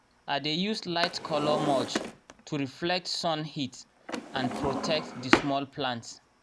i dey use light-colour mulch to reflect sun heat and protect the small plants.